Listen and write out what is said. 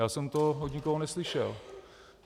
Já jsem to od nikoho neslyšel.